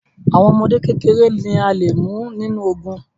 Àwọn ọmọdé kékeré ni a lè mú nínú ogùn